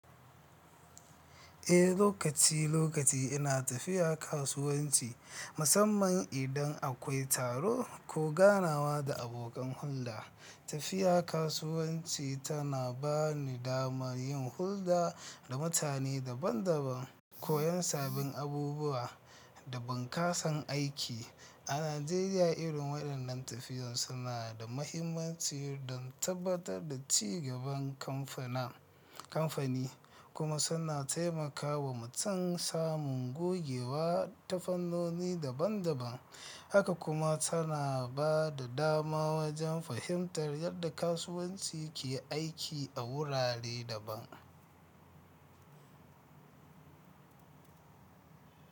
Eh, lokaci lokaci ina tafiya kasuwanci. Musamman idan akwai taro ko ganawa da abokan hulɗa. Tafiya kasuwanci tana bani dama yin hulɗa da mutane daban daban, koyon sabbin abubuwa da bunƙasar aiki. A Najeriya irin waɗannan tafiyun suna da mahimmanci don tabbatar da cigaban kamfani kuma suna taimakawa mutum samun gogewa, ta fannoni daban-daban. Haka kuma tana ba da dama wajen fahimtar yadda kasuwanci ke aiki a wurare daban.